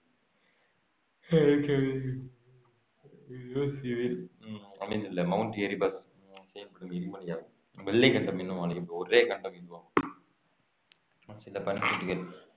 அமைந்துள்ள Mount Erebus செயல்படும் எரிமலையாகும் வெள்ளை கண்டம் என அழைக்கப்படும் ஒரே கண்டம் இதுவாகும் சில பனிக்கட்டிகள்